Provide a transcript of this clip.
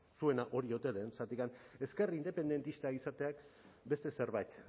zuena hori ote den zergatik ezker independentista izateak beste zerbait